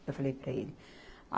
Eu falei para ele.